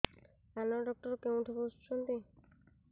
କାନ ଡକ୍ଟର କୋଉଠି ବସୁଛନ୍ତି